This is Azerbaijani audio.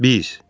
Biz.